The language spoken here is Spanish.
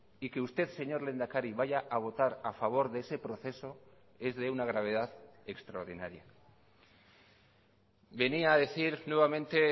y que usted señor lehendakari vaya a votar a favor de ese proceso es de una gravedad extraordinaria venía a decir nuevamente